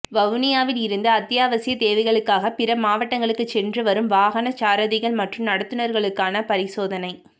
வவுனியாவில் இருந்து அத்தியாவசிய தேவைகளுக்காக பிற மாவட்டங்களுக்கு சென்று வரும் வாகன சாரதிகள் மற்றும் நடத்துனர்களுக்கான பரிசோதனை